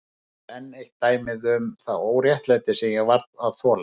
Þarna er enn eitt dæmið um það óréttlæti sem ég varð að þola.